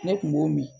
Ne kun b'o min